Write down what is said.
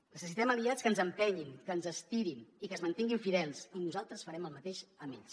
necessitem aliats que ens empenyin que ens estirin i que es mantinguin fidels i nosaltres farem el mateix amb ells